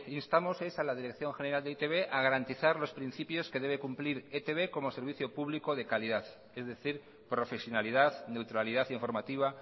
instamos es a la dirección general de e i te be a garantizar los principios que debe cumplir etb como servicio público de calidad es decir profesionalidad neutralidad informativa